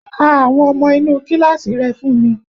Ka àwọn ọmọ inú kíláàsì rẹ fún mi!